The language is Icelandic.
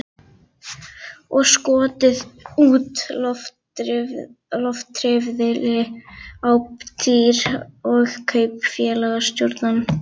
Og skotið úr loftriffli á dýr og kaupfélagsstjórann.